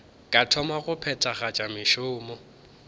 ka thoma go phethagatša mešomo